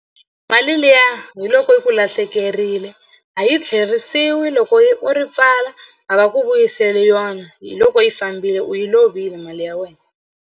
Mali liya hi loko yi ku lahlekerile a yi tlheriseriwi loko yi u ri pfala a va ku vuyiseli yona hi loko yi fambile u yi lovile mali ya wena.